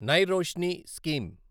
నై రోష్ని స్కీమ్